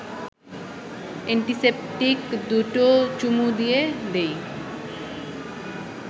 antiseptic দুটো চুমু দিয়ে দেই